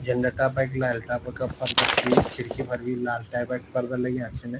झंडा टाइप की लाल टाइप का पर्दा छी खिड़की पर भी लाल टाइप क पर्दा लग्याँ छिन।